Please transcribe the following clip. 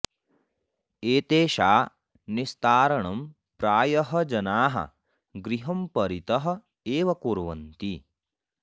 एतेषा निस्तारणं प्रायः जनाः गृहं परितः एव कुर्वन्ति